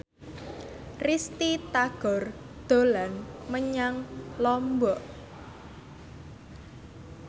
Risty Tagor dolan menyang Lombok